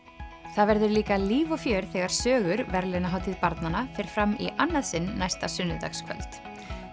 það verður líka líf og fjör þegar sögur verðlaunahátíð barnanna fer fram í annað sinn næsta sunnudagskvöld